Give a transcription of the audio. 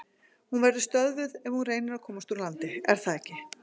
Hún verður stöðvuð ef hún reynir að komast úr landi, er það ekki?